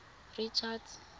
richards